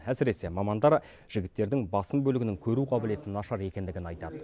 әсіресе мамандар жігіттердің басым бөлігінің көру қабілеті нашар екендігін айтады